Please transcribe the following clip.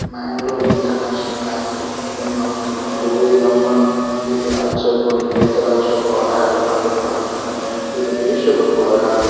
Mangalore international airport ಮೂಲು ನಮಕ್ ನಮಕ್ ಒವ್ವೇ ನಮ್ಮ ದೇ ರಾಜ್ಯ ಬುರ್ದು ಬೇತೆ ರಾಜ್ಯ ಗ್ ಪೋರೆ ಆಡ್ ಆದುಪ್ಪಡ್ ಅತ್ತುಂಡ ದೇಶ ಗ್ ಪೋರೆ ಆದುಪ್ಪ್.